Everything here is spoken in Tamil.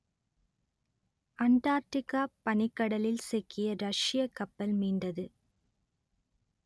அண்டார்க்டிக்கா பனிக்கடலில் சிக்கிய ரஷ்யக் கப்பல் மீண்டது